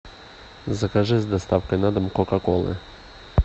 закажи с доставкой на дом кока колы